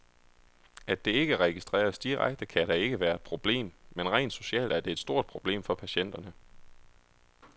At det ikke registreres direkte, kan da ikke være et problem, men rent socialt er det et stort problem for patienterne.